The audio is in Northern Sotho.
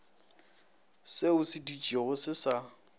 se se dutšego se sa